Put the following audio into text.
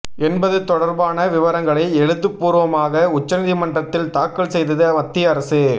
என்பது தொடர்பான விவரங்களை எழுத்துப்பூர்வமாக உச்சநீதிமன்றத்தில் தாக்கல் செய்தது மத்திய அரசு